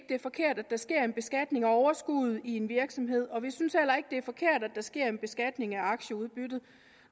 det er forkert at der sker en beskatning af overskuddet i en virksomhed og vi synes heller ikke at det er forkert at der sker en beskatning af aktieudbyttet